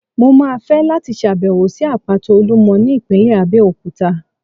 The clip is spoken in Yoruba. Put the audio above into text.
Mo máa fẹ́ láti ṣàbẹ̀wò sí Àpáta Olúmọ ní ìpínlẹ̀ Abẹ́òkúta.